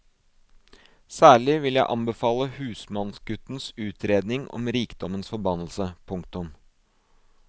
Særlig vil jeg anbefale husmannsguttens utredning om rikdommens forbannelse. punktum